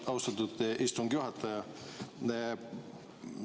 Austatud istungi juhataja!